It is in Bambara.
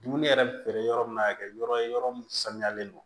Dumuni yɛrɛ feere yɔrɔ min na ka kɛ yɔrɔ ye yɔrɔ min sanuyalen don